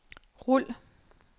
rul